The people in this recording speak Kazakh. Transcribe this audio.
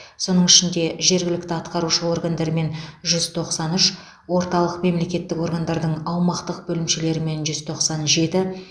соның ішінде жергілікті атқарушы органдармен жүз тоқсан үш орталық мемлекеттік органдардың аумақтық бөлімшелерімен жүз тоқсан жеті